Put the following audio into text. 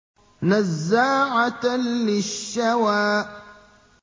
نَزَّاعَةً لِّلشَّوَىٰ